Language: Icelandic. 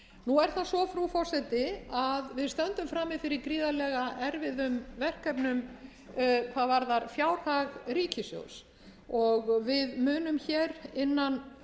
nú er það svo frú forseti að við stöndum frammi fyrir gríðarlegu erfiðum verkefnum hvað varðar fjárhag ríkissjóðs og við munum hér innan